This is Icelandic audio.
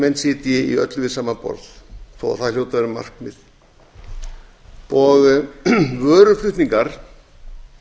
menn sitji í öllu við sama borð þó að það hljóti að vera markmið vöruflutningar